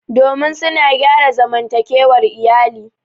domin suna gyara zamantakewar iyali